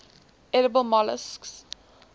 edible molluscs